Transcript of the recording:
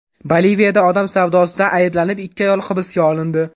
Boliviyada odam savdosida ayblanib, ikki ayol hibsga olindi.